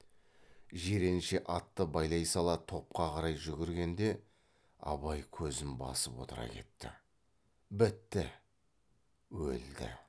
жиренше атты байлай сала топқа қарай жүгіргенде абай көзін басып отыра кетті бітті өлді